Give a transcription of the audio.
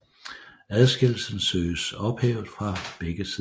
Adskillelsen søges ophævet fra begge sider